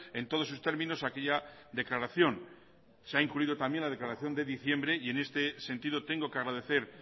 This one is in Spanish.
en todos sus términos a aquella declaración se ha incluido también la declaración de diciembre y en este sentido tengo que agradecer